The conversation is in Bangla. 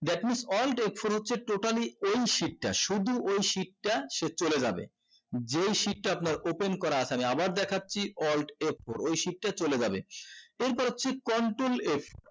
that means alt f four হচ্ছে totaly এই sheet টা শুধু ওই sheet টা সে চলে যাবে যেই sheet টা আপনার open করা আছে আমি আবার দেখছি alt f four ওই sheet টা চলে যাবে এরপর হচ্ছে control f